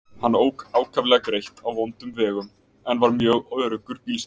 Hann ók ákaflega greitt á vondum vegum en var mjög öruggur bílstjóri.